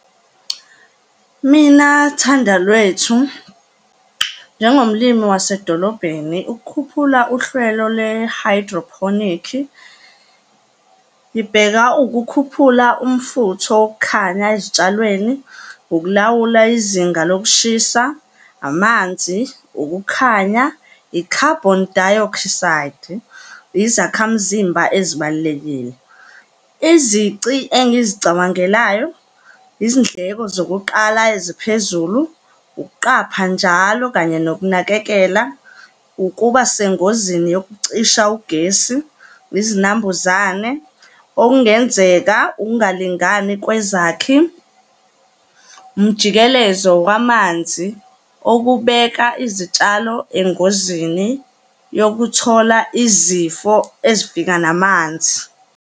Mina, Thandalwethu, njengomlimi wasedolobheni, ukukhuphula uhlelo lwe-hydroponic-i, ngibheka ukukhuphula umfutho wokukhanya ezitshalweni, ukulawula izinga lokushisa, amanzi, ukukhanya, i-carbon dioxide, izakhamzimba ezibalulekile. Izici engizicabangelayo, izindleko zokuqala eziphezulu, ukuqapha njalo kanye nokunakekela, ukuba sengozini yokucisha ugesi, izinambuzane, okungenzeka ukungalingani kwezakhi, umjikelezo wamanzi okubeka izitshalo engozini yokuthola izifo ezifika namanzi.